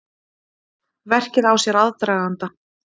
Verkið á sér aðdraganda.